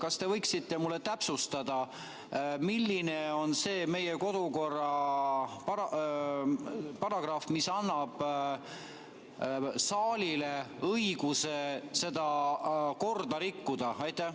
Kas te võiksite täpsustada, milline meie kodukorra paragrahv annab saalile õiguse seda korda rikkuda?